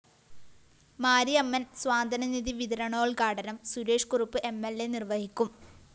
മാരിയമ്മന്‍ സ്വാന്തനനിധി വിതരണോദ്ഘാടനം Suresh Kurup M L അ നിര്‍വഹിക്കും